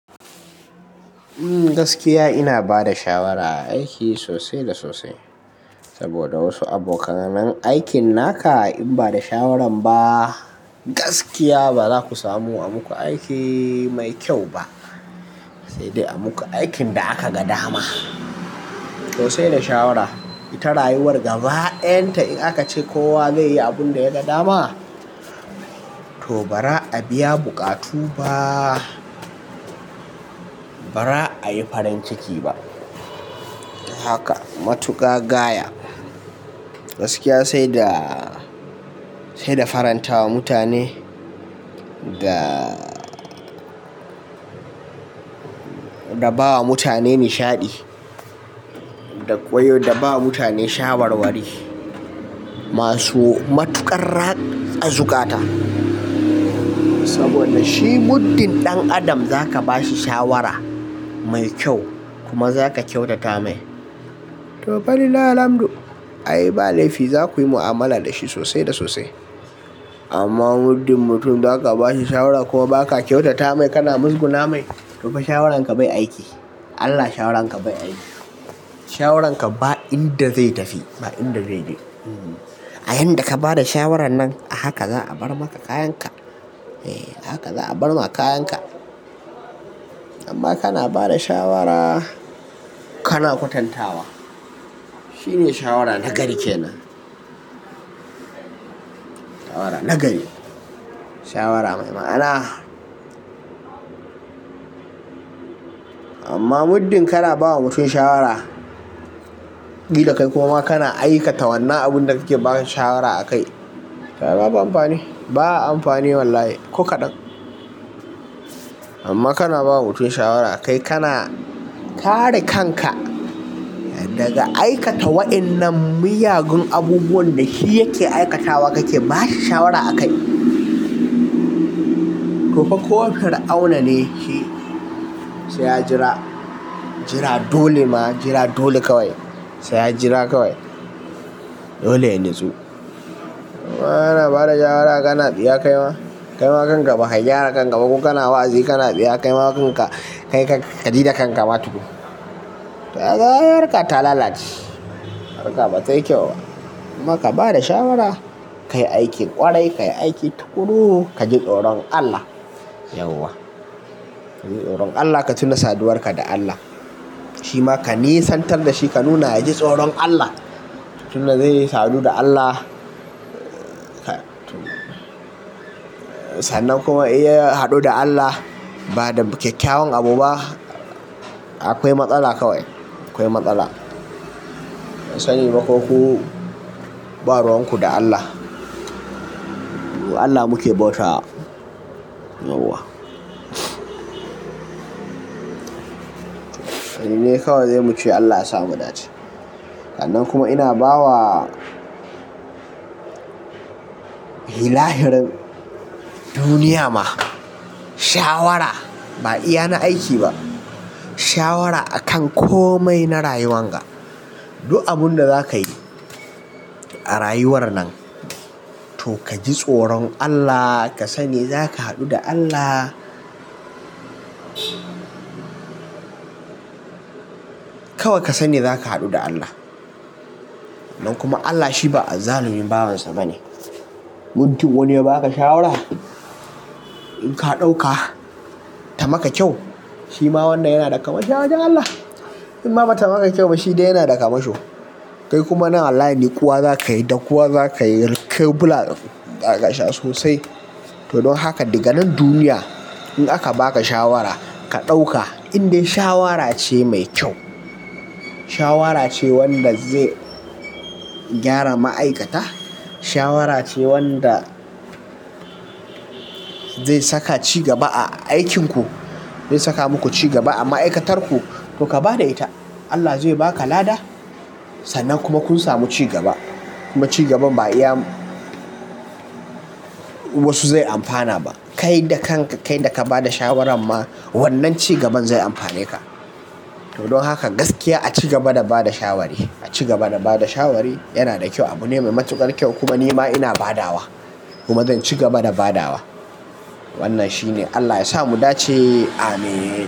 Gaskiya ina ba da shawara a aiki sosai da sosai. Saboda wasu abokan aikin naka in ba da shawaran ba gaskiya bazaku samu a muku aiki mai kyau ba. Sai dai a muku aikin da aka ga dama. To sai da shawara ita rayuwar gaba ɗayan ta in aka ce kowa zai yi abin da ya ga dama, to ba ra a biya buƙatu ba ba ra a yi farin ciki ba. Haka matuƙa gaya gaskiya sai da, sai da farantawa mutane da, da bawa mutane nishaɗi ko da bawa mutane shawarwari masu matuƙar ratsa zukata. Sabda shi muddin ɗan adam zaka ba shi shawara mai kyau kuma zaka kyautata mai to falillahilhamdu ayli ba laifi za ku yi mu'amala da shi sosai da sosai. Amma muddin mutum zaka ba shi shawara kuma baka kyautata mai kana muzguna mai to fa shawaran ka bai aiki. Allah shawaran ka bai aiki. Shawaran ka ba inda zai tafi ba inda zai je. A yanda ka bada shawaran nan a haka za a bar maka kayan ka. Haka za a bar ma kayan ka. Amma kana bada shawara kana kwatantawa shine shawara nagari kenan. Shawara nagari. Shawara mai ma'ana. Amma muddin kana ba wa mutum shawara ƙila kai kuma ma kana aikata wannan abunda kake ba shi shawara a kai to ai babu amfani. Ba amfani wallahi ko kaɗan. Amma kana ba wa mutum shawara kai kana kare kan ka daga aikata waƴannan miyagun abubuwan da shi yake aikatawa kake ba shi shawara a kai. To fa ko fir'auna ne shi sai ya jira, jira dole ma jira dole kawai. Sai ya jira kawai. Dole ya natsu. Amma kana ba da shawara kana tsiya kaima. Kaima kan ka baka gyara kan ka ba. Ko kana wa'azi kana tsiya kaima kan ka. Kai kan ka ka ji da kan ka ma tukun. To kaga harka ta lalaci. Harka batai kyau ba. Kuma ka bada shawara kayi aikin ƙwarai kayi aiki taƙuru kaji tsoron Allah yauwa. Kaji tsoron Allah ka tuna saduwar ka da Allah. Shima ka nesantar da shi ka nuna ya ji tsoron Allah. Tuna zai yi sadu da Allah. Sannan kuma in ya haɗu da Allah bada kyakkyawan abu ba, akwai matsala kawai. Akwai matsala. Ban Sani ba ko ku baruwan ku da Allah. Allah muke bauta yauwa. Yanzu dai kawai sai mu ce Allah yasa mu dace. Nan kuma ina bawa ilahirin duniya ma shawara. Ba iya na aiki ba. Shawara akan komai na rayuwan ga. Duk abunda zaka yi a rayuwar nan, to kaji tsoron Allah ka sani zaka haɗu da Allah. Kawai ka sani zaka haɗu da Allah. Nan kuma Allah shi ba azzalumi bawansa bane. Muddin wani ya baka shawara in ka ɗauka ta maka kyau shima wannan yana daga kwamisho a wajan Allah. In ma bata maka kyau ba shi dai yana da kwamisho. Kai kuma nan wallahi naƙuwa zaka yi dakuwa zaka yi, kebura zaka sha sosai. To dan haka daga nan duniya in aka baka shawara ka ɗauka indai shawara ce mai kyau. Shawara ce wanda zai gyara ma'aikata. Shawara ce wanda zai saka cigaba a aikinku. Zai saka muku cigaba a ma'aikatarku to ka bada ita. Allah zai baka lada sannan kuma kun samu cigaba. Kuma cigaban ba iya wasu zai amfana ba. Kai da kan ka kai da ka bada shawaran ma wannan cigaban zai amfane ka. To don haka gaskiya a cigaba da bada shawari. A cigaba da bada shawari yana da kyau. Abune mai matuƙar kyau kuma ni ma ina badawa kuma zan cigaba da badawa. Wannan shine Allah yasa mu dace ameen.